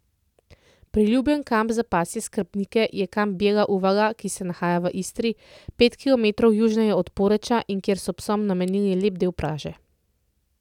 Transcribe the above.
Priljubljen kamp za pasje skrbnike je Kamp Bijela Uvala, ki se nahaja v Istri, pet kilometrov južneje od Poreča in kjer so psom namenili lep del plaže.